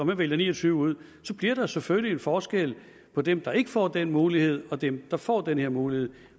man vælger ni og tyve ud så bliver der jo selvfølgelig en forskel på dem der ikke får den mulighed og dem der får den her mulighed